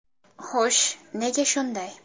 Xo‘sh, nega shunday?